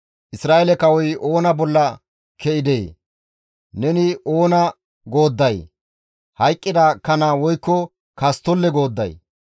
«Isra7eele kawoy oona bolla ke7idee? Neni oona goodday? Hayqqida kana woykko kasttolle goodday?